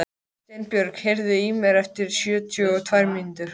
Steinbjörg, heyrðu í mér eftir sjötíu og tvær mínútur.